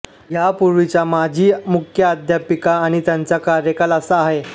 यापूर्वीच्या माजी मुख्याध्यापिका आणि त्यांचा कार्यकाल असा आहे